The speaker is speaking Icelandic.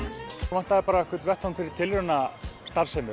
vantaði bara einhvern vettvang fyrir tilraunastarfsemi